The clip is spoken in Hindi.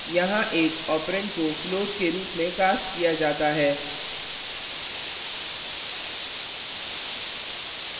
यहाँ एक ऑपरेंड को floatके रूप में cast किया जाता है